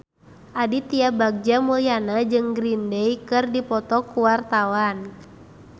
Aditya Bagja Mulyana jeung Green Day keur dipoto ku wartawan